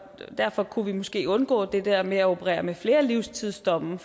derfor kunne vi måske undgå det der med at operere med flere livstidsdomme